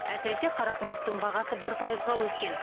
әсіресе қарақұмықтың бағасы бір пайызға өскен